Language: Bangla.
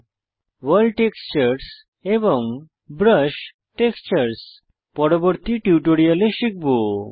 ভোর্ল্ড টেক্সচার্স এবং ব্রাশ টেক্সচার্স পরবর্তী টিউটোরিয়ালে শিখব